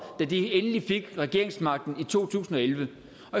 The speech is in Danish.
da de endelig fik regeringsmagten i to tusind og elleve